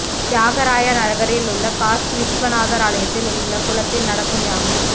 தியாகராய நகரில் உள்ள காசி விஸ்வநாதர் ஆலயத்தில் உள்ள குளத்தில் நடக்கும் யாகம்